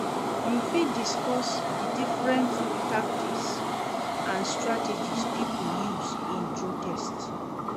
You fit discuss di different tactics and strategies people used in protest.